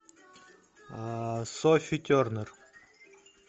софи тернер